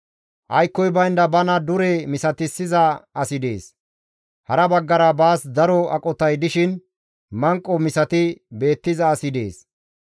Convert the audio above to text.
Aykkoy baynda bana dure misatissiza asi dees; hara baggara baas daro aqotay dishin manqo misati beettiza asi dees.